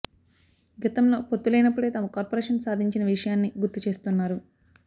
గతంలో పొత్తు లేనప్పుడే తాము కార్పొరేషన్ సాధించిన విషయాన్ని గుర్తు చేస్తున్నారు